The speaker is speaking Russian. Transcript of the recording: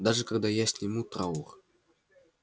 даже когда я сниму траур